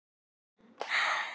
En út úr þeim stígur Þórarinn.